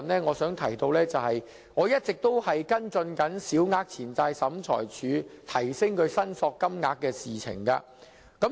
我想指出，我一直跟進提升小額錢債審裁處申索金額的事情。